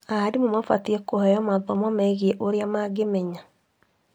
Arimũ mabatie kũheo mathomo megie ũrĩa mangĩmenya